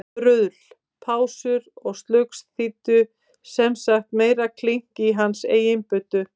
Bruðl, pásur og slugs þýddu sem sagt meira klink í hans eigin buddu.